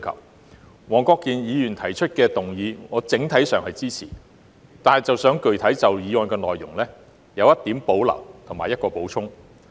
我整體上支持黃國健議員提出的議案，但想具體就議案的內容提出一點保留及作出一個補充。